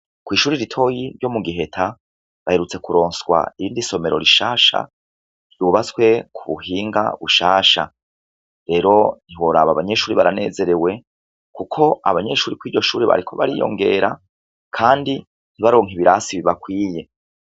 Kw'ishuri ritoyi ryo mu Giheta, baherutse kuronswa irindi somero rishasha, ryubatswe ku buhinga bushasha. Rero ntiworaba abanyeshuri baranezerewe, kuko abanyeshuri kw'iryo shuri bariko bariyongera, kandi ntibaronke ibirasi bibakwiye.